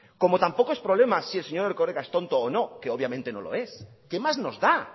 como tampoco es problema si el señor erkoreka es tonto o no que obviamente no lo es qué más nos da